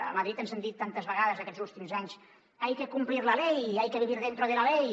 a madrid ens han dit tantes vegades aquests úl·tims anys hay que cumplir la ley hay que vivir dentro de la ley